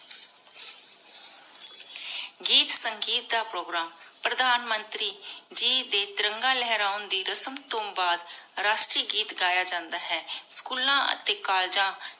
ਗੀਤ ਸੰਗੀਤ ਦਾ ਪ੍ਰੋਗਰਾਮ ਪਰਧਾਨ ਮੰਤਰੀ ਜੀ ਦੇ ਤਿਰੰਗਾ ਲਹਿਰੋਨ ਦੇ ਰਸਮ ਤੋ ਬਾਦ ਰਾਸ਼ਟਰੀ ਗੀਤ ਗਯਾ ਜਾਂਦਾ ਹੈ ਸ੍ਚੂਲਾਂ ਟੀਕਾਲਜਾਂ